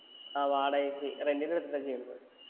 ആ വാടകയ്ക്ക് rent ന് എടുത്തിട്ടാ ചെയ്യുന്നത്